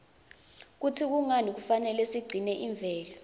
kutsi kungani kufanele sigcine imvelo